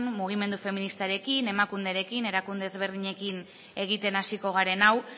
mugimendu feministarekin emakunderekin erakunde desberdinekin egiten hasiko garen hau